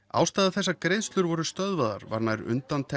ástæða þess að greiðslur voru stöðvaðar var nær